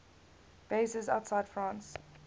bases outside france